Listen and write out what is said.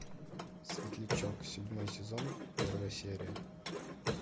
светлячок седьмой сезон первая серия